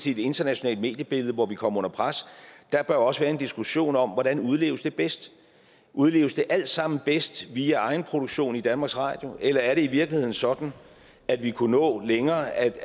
i det internationale mediebillede hvor vi kommer under pres der bør også være en diskussion om hvordan udleves det bedst udleves det alt sammen bedst via egen produktion i danmarks radio eller er det i virkeligheden sådan at vi kunne nå længere ad